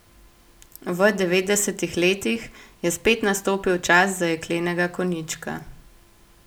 V devetdesetih letih je spet nastopil čas za jeklenega konjička.